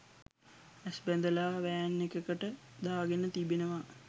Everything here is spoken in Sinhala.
ඇස් බැඳලා වෑන් එකකට දා ගෙන තිබෙනවා